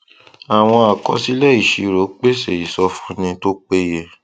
àwọn àkọsílẹ ìṣirò pèsè ìsọfúnni tó péye